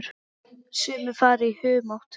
Sumir fara í humátt.